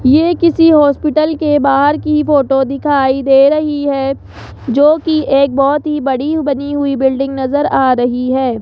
ये किसी हॉस्पिटल के बाहर की फोटो दिखाई दे रही है जो कि एक बहुत ही बड़ी बनी हुई बिल्डिंग नजर आ रही है।